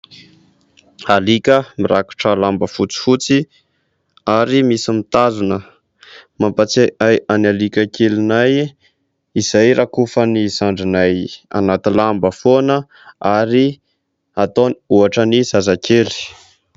Alika mirakotra lamba fotsifotsy ary misy mitazona. Mampatsiahy ahy an'i alika kelinay izay rakofan'i zandrinay anaty lamba foana ary ataony ohatra amin'ny zazakely.